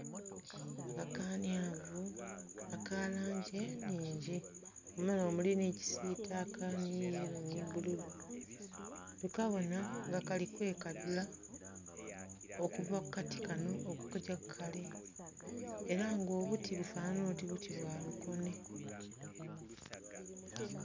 Akakanyavu aka langi enhingi muno nga mulimu kisitaka ni yello ni bbululu tukabona nga kali kwekadhula okuva ku kati kano okugya ku kale era nga obuti bufanhanha oti buti bwa lukone .